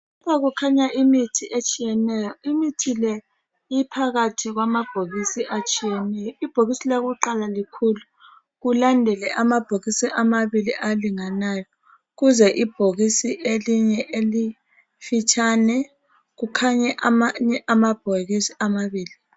Lapha kukhanya imithi etshiyeneyo imithi le iphakathi kwamabhokisi atshiyeneyo ibhokisi lakuqala likhulu kulandele amabhokisi amabili alinganayo kuze elinye elifitshane kukhanye amanye amabhokisi amabili